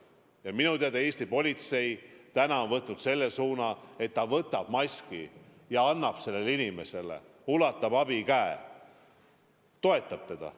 Aga minu teada Eesti politsei on võtnud selle suuna, et ta võtab maski ja annab sellele inimesele, ulatab abikäe, toetab teda.